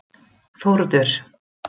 Þórður